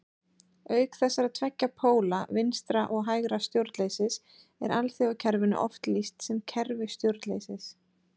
Auk þessara tveggja póla vinstra- og hægra stjórnleysis er alþjóðakerfinu oft lýst sem kerfi stjórnleysis.